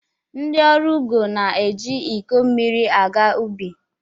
Ndi ọrụ ugo na-eji iko mmiri aga ubi.